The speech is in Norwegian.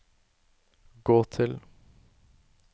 gå til